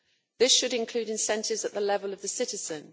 This should include incentives at the level of the citizen.